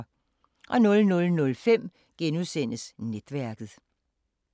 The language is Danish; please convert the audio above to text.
00:05: Netværket *